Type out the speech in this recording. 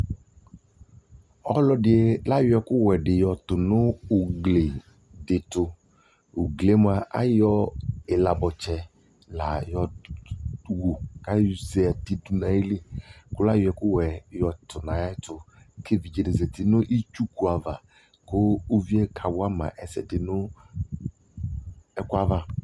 ɔlɔdi ayɔ ɛkʋ wɛ di tʋnʋ ɔwʋ ʋgli ɛtʋ, ʋgliɛ mʋa ayɔ ilabɔtsɛ la yɔwʋ, kʋayɔ ɛkʋ wɛ yɔtʋ nʋ ayɛ ɛtʋ, kʋ ɛvidzɛ di zati nʋ itsʋkʋ aɣa kʋ ʋviɛ ka wama ɛsɛdi nʋ ɛkʋɛ aɣa